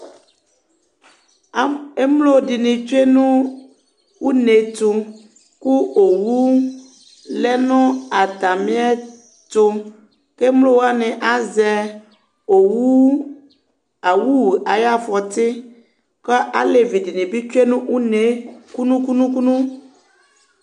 Emlo ɖíni tsʋe ŋu ʋnetu kʋ owu lɛnu atami ɛtu Emlowaŋi azɛ owu awʋ ayʋ afɔti kʋ alevi dìní bi tsue nu ʋne'e kʋnu kʋnu kʋnu